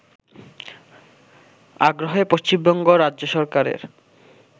আগ্রহে পশ্চিমবঙ্গ রাজ্য সরকারের